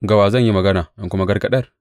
Ga wa zan yi magana in kuma gargaɗar?